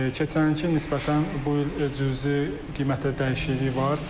Keçən ilki nisbətən bu il cüzi qiymətdə dəyişiklik var.